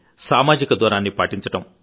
సామాజిక దూరాన్ని పాటించడం